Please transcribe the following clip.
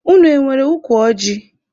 Unu enwere ukwu ọjị?